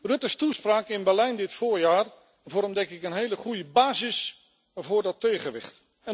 Ruttes toespraak in Berlijn dit voorjaar vormt een hele goede basis voor dat tegenwicht.